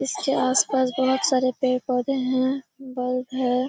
इसके आसपास बहुत सारे पेड़-पौधे हैं बल्ब है।